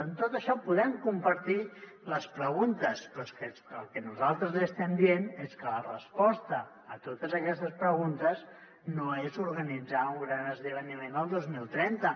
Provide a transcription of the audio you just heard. en tot això podem compartir les preguntes però és que el que nosaltres li estem dient és que la resposta a totes aquestes preguntes no és organitzar un gran esdeveniment el dos mil trenta